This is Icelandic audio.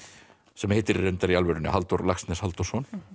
sem heitir reyndar í alvörunni Halldór Laxness Halldórsson